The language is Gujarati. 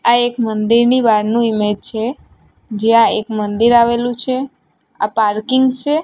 આ એક મંદિરની બારનું ઈમેજ છે જ્યાં એક મંદિર આવેલું છે આ પાર્કિંગ છે.